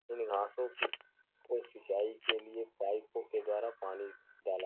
इन घांसों की कोई सिंचाई के लिए पाइपों के द्वारा पानी डाला --